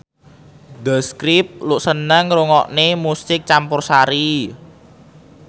The Script seneng ngrungokne musik campursari